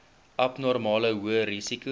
abnormale hoë risiko